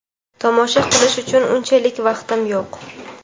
Tomosha qilish uchun unchalik vaqtim yo‘q.